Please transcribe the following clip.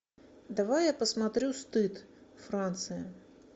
давай я посмотрю стыд франция